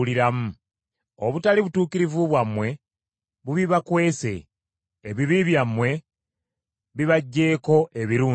Obutali butuukirivu bwammwe bubibakwese ebibi byammwe bibaggyeeko ebirungi.